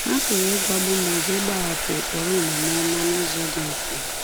Ha pụrụ ịgwagbu ma ọ bụ ịgbahapụ ụkpụrụ omume ọma n’ụzọ dị mfe.